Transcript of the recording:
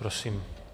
Prosím.